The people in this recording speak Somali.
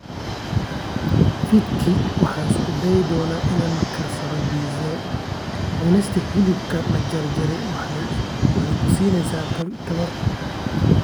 Fiidkii, waxaan isku dayi doonaa inaan karsado pizza. Cunista hilibka la jarjaray waxay ku siinaysaa tamar.